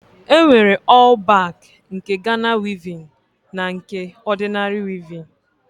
E nwere ọl bak nke Gana wivin na nke ọdịnari wivin.